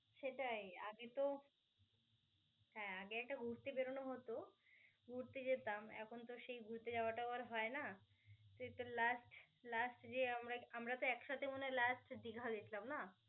সেটাই. আগে তো হ্যা আগে একটা ঘুরতে বেরনো হতো. ঘুরতে যেতাম, এখন তো আর সেই ঘুরতে যাওয়াটা আর হয় না. সেই তো last last যে আমরা আমরা তো একসাথে মনে হয় last দিঘা গেছিলাম না?